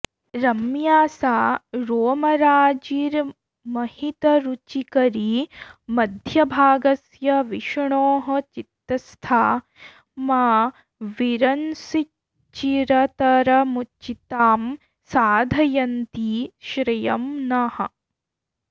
रम्या सा रोमराजिर्महितरुचिकरी मध्यभागस्य विष्णोः चित्तस्था मा विरंसीच्चिरतरमुचितां साधयन्ती श्रियं नः